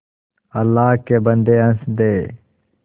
अल्लाह के बन्दे हंस दे